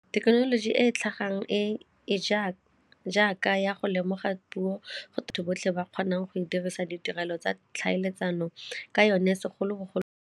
Thekenoloji e e tlhagang e e jaaka ya go lemoga puo go batho botlhe ba kgonang go e dirisa ditirelo tsa tlhaeletsano ka yone segolobogolo.